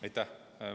Aitäh!